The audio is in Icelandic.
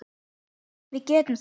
Við getum það.